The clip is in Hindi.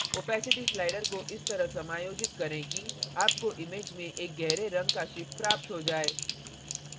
opacity slider को इस तरह समायोजित करें कि आपको image में एक गहरे रंग का ship प्राप्त हो जाए